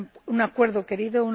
un acuerdo querido